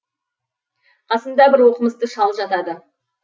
қасымда бір оқымысты шал жатады